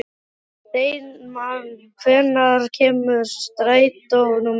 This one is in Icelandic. Steinmann, hvenær kemur strætó númer sjö?